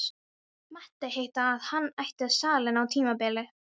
Mátti heita að hann ætti salinn á tímabili.